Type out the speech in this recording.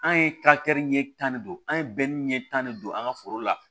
An ye ɲɛ tan de don an ye ɲɛ tan de don an ka foro la